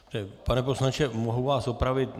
Pane poslanče, mohu vás opravit?